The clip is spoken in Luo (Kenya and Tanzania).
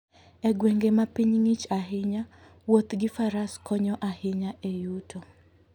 E gwenge ma piny ong'ich ahinya, wuoth gi Faras konyo ahinya e yuto.